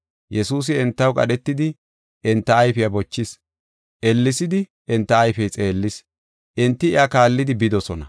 Yesuusi entaw qadhetidi, enta ayfiya bochis. Ellesidi enta ayfey xeellis; enti iya kaallidi bidosona.